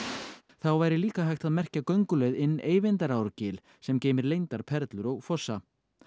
þá væri líka hægt að merkja gönguleið inn sem geymir leyndar perlur og fossa